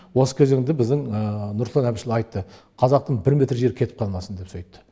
осы кезеңде біздің нұрсұлтан әбішұлы айтты қазақтың бір метр жері кетіп қалмасын деп сөйтті